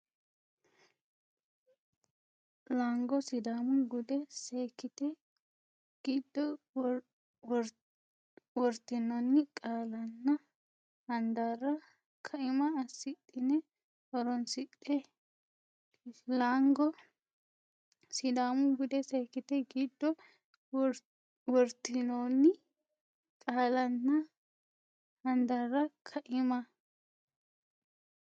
Laango Sidaamu bude seekkite giddo wortinoonni qaallanna handaarra kaima assidhine horoonsidhe Laango Sidaamu bude seekkite giddo wortinoonni qaallanna handaarra kaima.